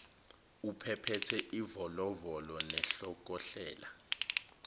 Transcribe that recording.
ubephethe ivolovolo nenhlokohlela